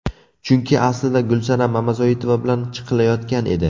Chunki aslida Gulsanam Mamazoitova bilan chiqilayotgan edi.